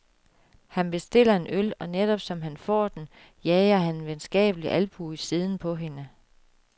Han bestiller en øl, og netop som han får den, jager han en venskabelig albue i siden på hende.